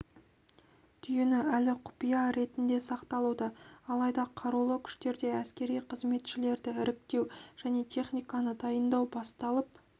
түйіні әлі құпия ретінде сақталуда алайда қарулы күштерде әскери қызметшілерді іріктеу және техниканы дайындау басталып